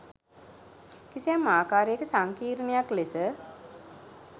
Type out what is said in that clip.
කිසියම් ආකාරයක සංකීර්ණයක් ලෙස